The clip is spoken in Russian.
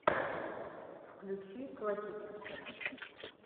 включи классическая